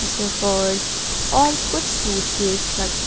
supports और कुछ suitcase रखी--